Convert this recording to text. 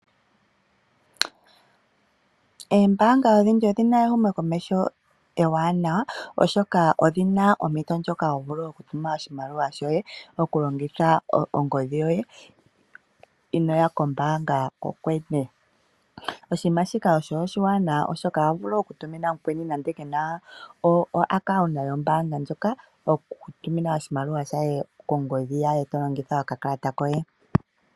Eembaanga odhindji odhi na ehumokomeho ewanawa oshoka odhina ompito ndjoka ho vulu okutuma oshimaliwa shoye mokulongitha ongodhi yoye inooya kombaanga kokwene. Oshiima shika osho oshiwanawa oshoka oho vulu okutumina mukweni nande ke na oaccount yombaanga ndjoka oku mu tumina oshimaliwa shaye kongodhi yaye to longitha okakakata koye.